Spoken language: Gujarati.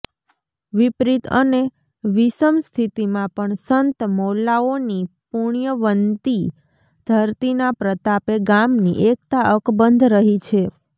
વિપરીત અને વિષમ સ્થિતિમાં પણ સંત મૌલાઓની પુણ્યવન્તિ ધરતીના પ્રતાપે ગામની એકતા અકબંધ રહી છે